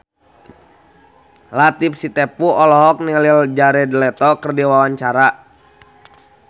Latief Sitepu olohok ningali Jared Leto keur diwawancara